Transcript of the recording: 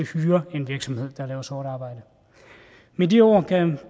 hyrer en virksomhed der laver sort arbejde med de ord kan